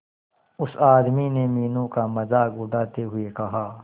उस आदमी ने मीनू का मजाक उड़ाते हुए कहा